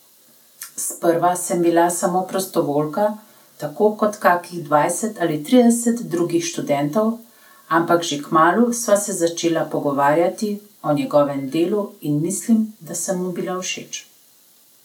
Sprva sem bila samo prostovoljka tako kot kakih dvajset ali trideset drugih študentov, ampak že kmalu sva se začela pogovarjati o njegovem delu in mislim, da sem mu bila všeč.